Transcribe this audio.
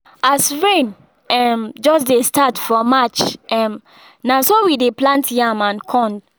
as rain um just dey start for march um na so we dey plant yam and corn